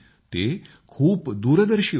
ते खूप दूरदर्शी होते